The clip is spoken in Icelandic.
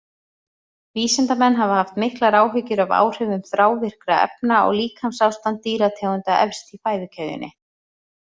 Vísindamenn hafa haft miklar áhyggjur af áhrifum þrávirkra efna á líkamsástand dýrategunda efst í fæðukeðjunni.